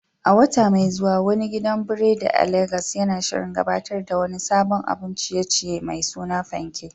A wata mai zuwa, wani gidan biredi a Legas yana shirin gabatar da wani sabon abun ciye-ciye mai suna "Fanke,"